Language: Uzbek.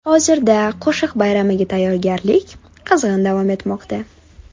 Hozirda qo‘shiq bayramiga tayyorgarlik jarayonlari qizg‘in davom etmoqda.